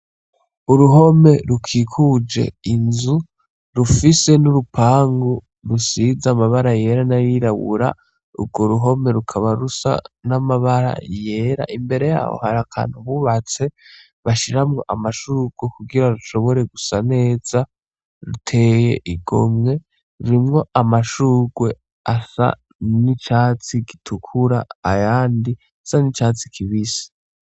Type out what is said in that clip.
Uruhome rukikuje inzu rufise n'urupangu rusiza amabara yera n'arirawura urwo ruhome rukaba rusa n'amabara yera imbere yaho hari akantu bubatse bashiramwo amashururu kugira rushobore gusa neza ruteye igomwe vinwo amashurwe asa n'icatsi gitukura ayandi sa n'icatsi kibise.